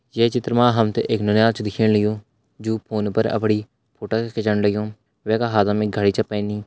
ये चित्र मा हमते एक नौनियाल छै दिख्येण लगयूं जू फ़ोन पर अपणी फोटो खिचण लगयूं वेका हातम एक घडी छै पेनी।